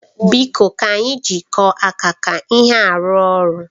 Biko ka anyị jikọọ aka ka ihe a rụọ ọrụ.